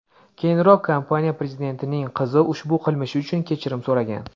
Keyinroq kompaniya prezidentining qizi ushbu qilmishi uchun kechirim so‘ragan.